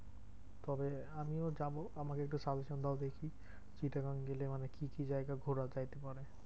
তবে আমিও যাবো আমাকে একটু suggestion দাও দেখি, চিটাগং গেলে মানে কি কি জায়গা ঘোরা যাইতে পারে?